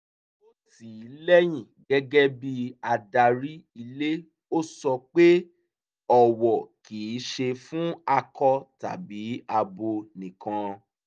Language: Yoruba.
ó tì í lẹ́yìn gẹ́gẹ́ bí adarí ílé ó sọ pé ọ̀wọ̀ kì í ṣe fún akọ tàbí abo nìkan